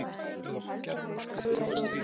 Það mun ég muna.